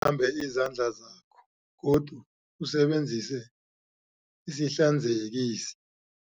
ambe izandla zakho godu usebenzise isihlanzekisi.